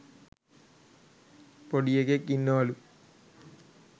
පොඩි එකෙක් ඉන්නවලු